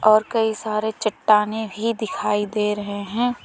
और कई सारे चट्टानें भी दिखाई दे रहे हैं।